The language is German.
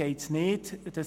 Dies ist nicht der Fall.